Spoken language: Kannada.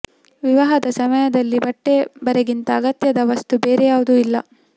ವಿವಾಹದ ಸಮಯದಲ್ಲಿ ಬಟ್ಟೆ ಬರೆಗಿಂತ ಅಗತ್ಯದ ವಸ್ತು ಬೇರೆ ಯಾವುದೂ ಇಲ್ಲ